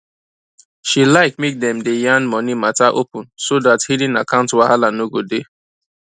she like make dem day yan money matter open so that hidden account wahala no go dey